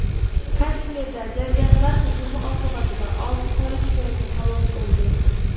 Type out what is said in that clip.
Kashmirda jangarilar hujumi oqibatida olti politsiyachi halok bo‘ldi.